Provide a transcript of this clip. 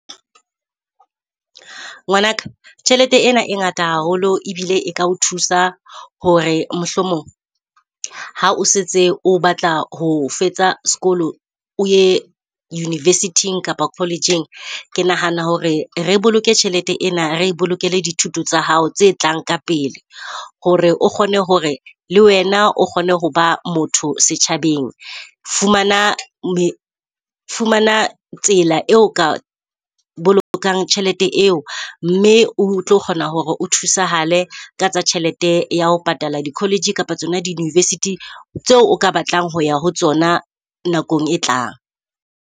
Ngwanaka tjhelete ena e ngata haholo ebile e ka o thusa hore mohlomong ha o setse o batla ho fetsa sekolo, o ye university-ing kapa college-eng. Ke nahana hore re boloke tjhelete ena, re e bolokele dithuto tsa hao tse tlang ka pele. Hore o kgone hore le wena o kgone ho ba motho setjhabeng. Fumana fumana tsela eo o ka bolokang tjhelete eo mme o tlo kgona hore o thusahale ka tsa tjhelete ya ho patala di-college kapa tsona di-university tseo o ka batlang ho ya ho tsona nakong e tlang.